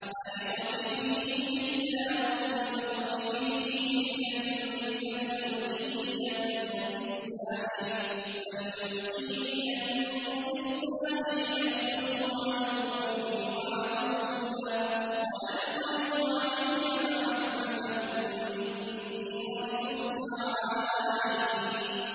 أَنِ اقْذِفِيهِ فِي التَّابُوتِ فَاقْذِفِيهِ فِي الْيَمِّ فَلْيُلْقِهِ الْيَمُّ بِالسَّاحِلِ يَأْخُذْهُ عَدُوٌّ لِّي وَعَدُوٌّ لَّهُ ۚ وَأَلْقَيْتُ عَلَيْكَ مَحَبَّةً مِّنِّي وَلِتُصْنَعَ عَلَىٰ عَيْنِي